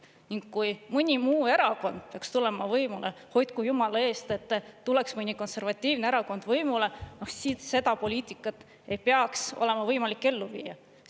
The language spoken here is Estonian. Ning kui mõni muu erakond peaks tulema võimule, hoidku jumala eest, et tuleks mõni konservatiivne erakond võimule, siis seda poliitikat ei peaks olema võimalik ellu viia.